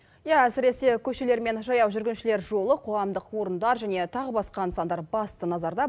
иә әсіресе көшелер мен жаяу жүргіншілер жолы қоғамдық орындар және тағы басқа нысандар басты назарда